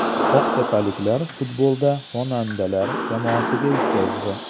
Oqtepaliklar futbolda xonandalar jamoasiga yutqazdi.